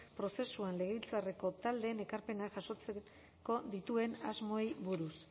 prozesuan legebiltzarreko taldeen ekarpenak jasotzeko dituen asmoei buruz